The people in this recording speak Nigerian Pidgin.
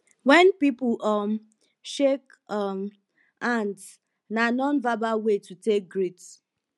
when pipo um shake um hands na nonverbal way to take greet